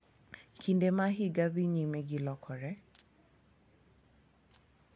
Kinde ma higa dhi nyime gi lokore